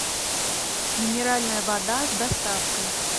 минеральная вода с доставкой